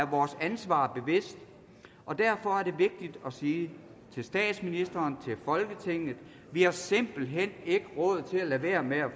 vores ansvar bevidst og derfor er det vigtigt at sige til statsministeren og til folketinget vi har simpelt hen ikke råd til at lade være med at